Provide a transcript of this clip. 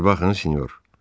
Bir baxın, senyor.